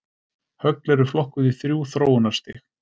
Högl eru flokkuð í þrjú þróunarstig.